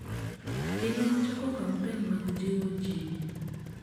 dine wachako kampen mag jiwo jii